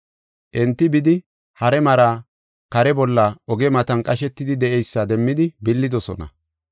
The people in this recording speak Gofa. Enti bidi, hare mari kare bolla oge matan qashetidi de7eysa demmidi billidosona.